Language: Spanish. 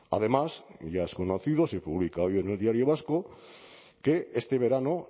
además ya es conocido se publica hoy en el diario vasco que este verano